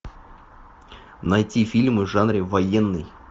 найти фильмы в жанре военный